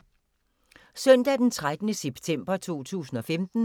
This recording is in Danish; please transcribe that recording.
Søndag d. 13. september 2015